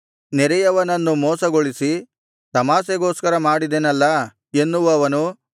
ನೆರೆಯವನನ್ನು ಮೋಸಗೊಳಿಸಿ ತಮಾಷೆಗೋಸ್ಕರ ಮಾಡಿದೆನಲ್ಲಾ ಎನ್ನುವವನು